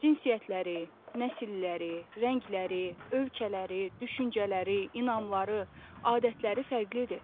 Cinsiyyətləri, nəsilləri, rəngləri, ölkələri, düşüncələri, inanmaları, adətləri fərqlidir.